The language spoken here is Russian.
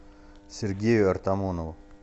сергею артамонову